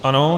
Ano.